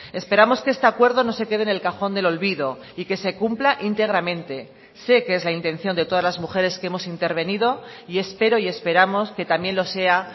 esperamos que este acuerdo no se quede en el cajón del olvido y que se cumpla íntegramente sé que es la intención de todas las mujeres que hemos intervenido y espero y esperamos que también lo sea